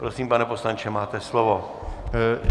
Prosím, pane poslanče, máte slovo.